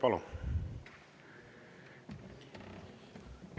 Palun!